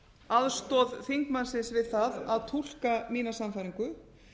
aðstoð þingmannsins við það að túlka mína sannfæringu